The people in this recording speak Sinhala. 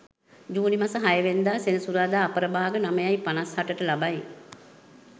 ජුනි මස 6 වන දා සෙනසුරාදා අපර භාග 9.58 ට ලබයි.